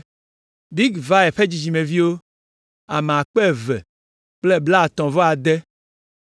Bigvai ƒe dzidzimeviwo, ame akpe eve kple blaatɔ̃-vɔ-ade (2,056).